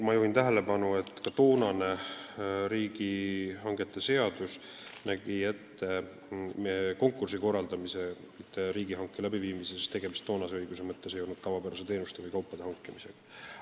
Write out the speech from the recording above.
Ma juhin tähelepanu, et ka riigihangete seadus näeb ette konkursi korraldamise, mitte riigihanke läbiviimise, sest tegemist ei ole tavapäraste teenuste osutamisega või kaupade tarnimisega.